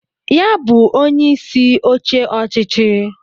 Ya bụ inye isi oche ọchịchị